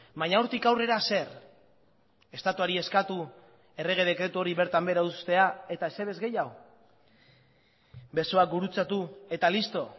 baina hortik aurrera zer estatuari eskatu errege dekretu hori bertan behera uztea eta ezer ez gehiago besoak gurutzatu eta listo